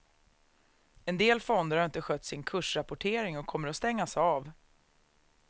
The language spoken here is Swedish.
En del fonder har inte skött sin kursrapportering och kommer att stängas av.